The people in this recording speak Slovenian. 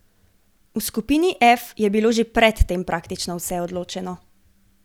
V skupini F je bilo že pred tem praktično vse odločeno.